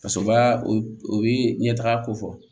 Ka sɔrɔ baa u bɛ ɲɛtaga ko fɔ